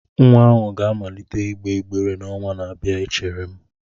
Nwa ahụ ga-amalite ịgba ịgbere n'ọnwa na-abịa echere m